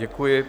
Děkuji.